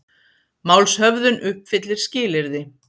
Málshöfðun uppfyllir skilyrði